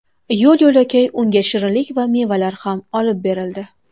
Yo‘l-yo‘lakay unga shirinlik va mevalar ham olib berildi.